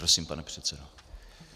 Prosím, pane předsedo.